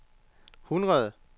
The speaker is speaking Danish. hundrede